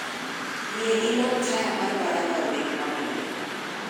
Yie ilok taya mar baranda obed ma bulu